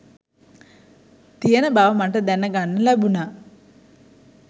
තියෙන බව මට දැන ගන්න ලැබුණා